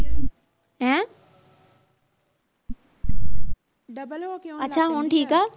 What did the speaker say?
ਅੱਛਾ ਹੁਣ ਠੀਕ ਆ